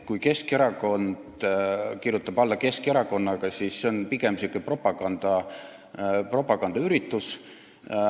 Kui Keskerakond kirjutab alla lepingu Keskerakonnaga, siis on see pigem propagandaüritus.